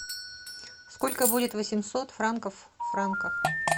сколько будет восемьсот франков в франках